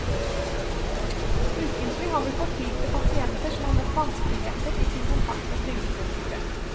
Ukentlig har vi fortvilte pasienter som har møtt vanskeligheter i sin kontakt med trygdekontoret.